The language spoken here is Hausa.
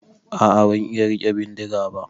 A'a ban iya rike bindiga ba.